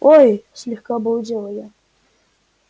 ой слегка обалдела я